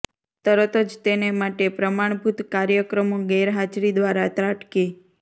તરત જ તેને માટે પ્રમાણભૂત કાર્યક્રમો ગેરહાજરી દ્વારા ત્રાટકી